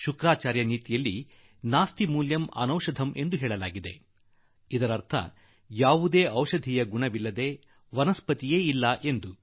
ಶುಕ್ರಾಚಾರ್ಯ ನೀತಿಯಲ್ಲಿ ಹೇಳುವುದಾದರೆ ನಾಸ್ತಿ ಮೂಲಂ ಅನೌಷಧಂ ಅಂದರೆ ಔಷಧೀಯ ಗುಣವಿಲ್ಲದೆ ಯಾವುದೇ ಸಸ್ಯವಿಲ್ಲ ಎಂದು